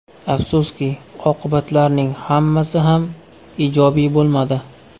Afsuski, oqibatlarning hammasi ham ijobiy bo‘lmadi.